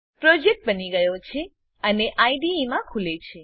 project બની ગયો છે અને આઇડીઇ માં ખૂલે છે